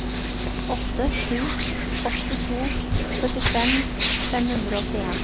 åtte sju åtte to syttifem fem hundre og åttien